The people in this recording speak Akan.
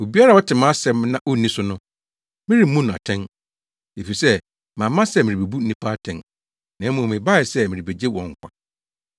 “Obiara a ɔte mʼasɛm na onni so no, meremmu no atɛn. Efisɛ mamma sɛ merebebu nnipa atɛn, na mmom, mebae sɛ merebegye wɔn nkwa.